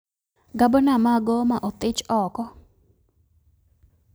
Gabna ma Goma othich oko